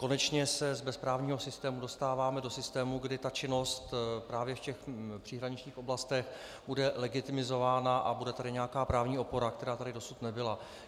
Konečně se z bezprávního systému dostáváme do systému, kdy ta činnost právě v těch příhraničních oblastech bude legitimizována a bude tady nějaká právní opora, která tady dosud nebyla.